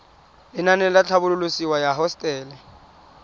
lenaane la tlhabololosewa ya hosetele